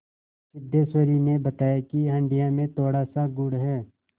सिद्धेश्वरी ने बताया कि हंडिया में थोड़ासा गुड़ है